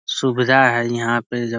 सुविधा है यहाँ पे जब --